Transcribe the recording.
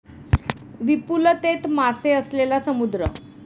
विपुलतेत मासे असलेला समुद्र